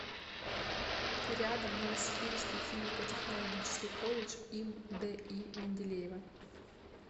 рядом новосибирский химико технологический колледж им ди менделеева